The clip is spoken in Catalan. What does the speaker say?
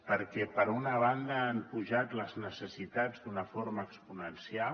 perquè per una banda han pujat les necessitats d’una forma exponencial